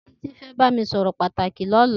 Titi fẹ bàmí sọrọ pàtáki lọ̀lá